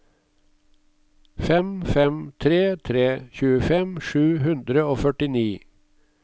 fem fem tre tre tjuefem sju hundre og førtini